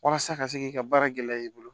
Walasa ka se k'i ka baara gɛlɛya i bolo